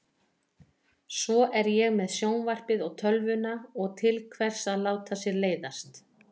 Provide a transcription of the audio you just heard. Svo er ég með sjónvarpið og tölvuna og til hvers að láta sér leiðast?